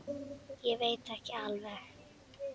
Ég veit ekki alveg.